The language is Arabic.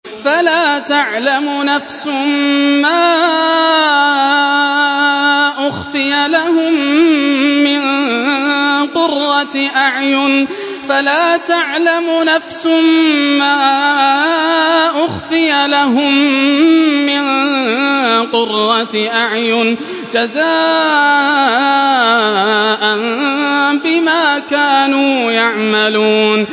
فَلَا تَعْلَمُ نَفْسٌ مَّا أُخْفِيَ لَهُم مِّن قُرَّةِ أَعْيُنٍ جَزَاءً بِمَا كَانُوا يَعْمَلُونَ